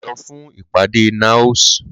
Lọ fún ìpàdé NAOS!